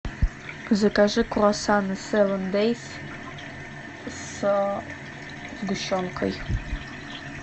закажи круассаны севен дейс с сгущенкой